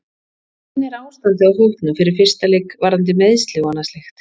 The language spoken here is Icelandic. Hvernig er ástandið á hópnum fyrir fyrsta leik varðandi meiðsli og annað slíkt?